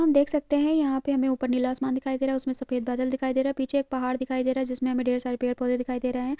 हम देख सकते है यहाँ पे हमे ऊपर नीला आसमान दिखाई दे रहा उसमे सफेद बादल दिखाई दे रहा पीछे एक पहाड़ दिखाई दे रहा जिसमे हमे ढेर सारे पेड़ पौधे दिखाई दे रहे हैं ।